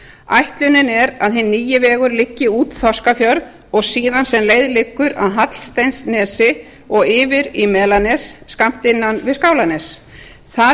ætlunin er að hinn nýi vegur liggi út þorskafjörð og síðan sem leið liggur að hallsteinsnesi og yfir í melanes skammt innan við skálanes þar